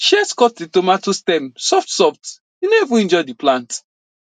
shears cut that tomato stem softsoft e no even injure the plant